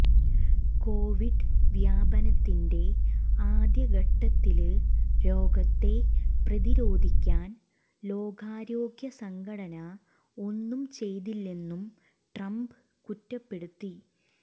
Covid വ്യാപനത്തിന്റെ ആദ്യഘട്ടത്തില് രോഗത്തെ പ്രതിരോധിക്കാൻ ലോകാരോഗ്യസംഘടന ഒന്നും ചെയ്തില്ലെന്നും ട്രംപ് കുറ്റപ്പെടുത്തി